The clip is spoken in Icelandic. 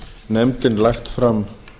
nefndin lagt fram